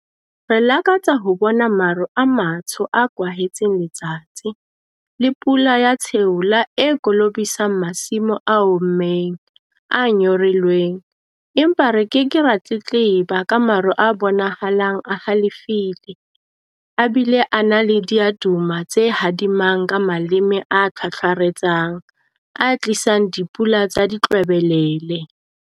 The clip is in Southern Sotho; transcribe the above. Re lakatsa ho bona maru a matsho a kwahetseng letsatsi, le pula ya tsheola e kolobisang masimo a ommeng, a nyorilweng - empa re ke ke ra tletleba ka maru a bonahalang a halefile, a bile a na le diaduma tse hadimang ka maleme a thwathwaretsang, a tlisang dipula tsa ditlwebelele!